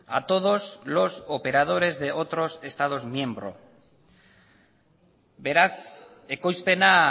a todos los operadores de otros estado miembro beraz ekoizpena